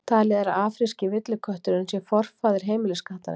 Talið er að afríski villikötturinn sé forfaðir heimiliskattarins.